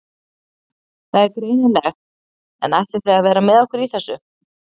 Það er greinilegt en ætlið þið að vera með okkur í þessu?